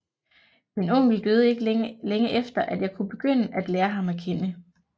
Min onkel døde ikke længe efter at jeg kunne begynde at lære ham at kende